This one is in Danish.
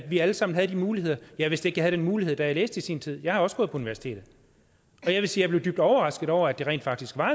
vi alle sammen havde de muligheder jeg vidste ikke at den mulighed da jeg læste i sin tid jeg har også gået på universitetet jeg vil sige at jeg blev dybt overrasket over at det rent faktisk var